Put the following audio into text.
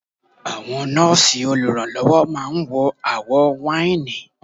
Àwọn nọ́ọ̀sì olùrànlọ́wọ́ máa ń wọ àwọ̀ wáìnì.